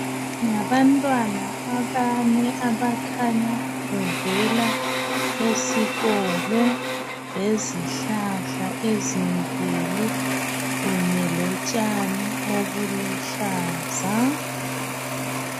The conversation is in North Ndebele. Ngabantwana abane abakhanya bevela esikolo, lezihlahla ezinkulu, kunye lotshani obuluhlaza.